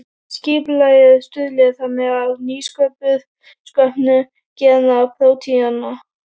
Skipulagið stuðli þannig að nýsköpun gena og prótína.